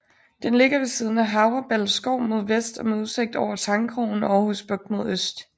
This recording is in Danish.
Den ligger ved siden af Havreballe Skov mod vest og med udsigt over Tangkrogen og Aarhus Bugt mod øst